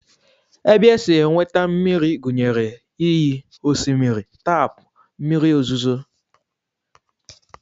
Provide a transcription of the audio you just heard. Ebe e si enweta mmiri gụnyere iyi, osimiri, taapụ, mmiri ozuzu